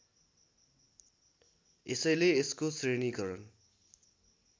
यसैले यसको श्रेणीकरण